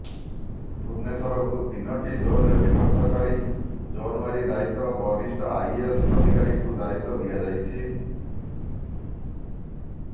ଭୁବନେଶ୍ୱରକୁ ତିନୋଟି ଜୋନରେ ବିଭକ୍ତ କରି ଜୋନୱାରୀ ଦାୟିତ୍ୱ ବରିଷ୍ଠ ଆଇଏଏସ ଅଧିକାରୀଙ୍କୁ ଦାୟିତ୍ୱ ଦିଆଯାଇଛି